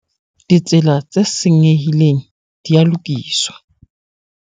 Ditsela tse senyehileng di a lokiswa.